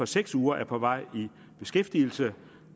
seks uger er på vej i beskæftigelse